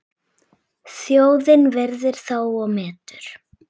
Þjóðin virðir þá og metur.